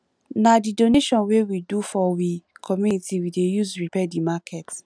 na di donation wey we do for we community we dey use repair di market